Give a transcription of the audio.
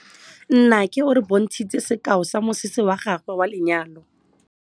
Nnake o re bontshitse sekaô sa mosese wa gagwe wa lenyalo.